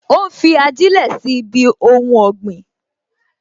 Ó ń fi ajilẹ sí ibi ohun ọ̀gbìn